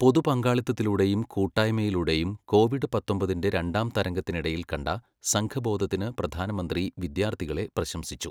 പൊതു പങ്കാളിത്തത്തിലൂടെയും കൂട്ടായ്മയിലൂടെയും കോവിഡ് പത്തൊമ്പതിന്റെ രണ്ടാം തരംഗത്തിനിടയിൽ കണ്ട സംഘബോധത്തിനു പ്രധാനമന്ത്രി വിദ്യാർത്ഥികളെ പ്രശംസിച്ചു.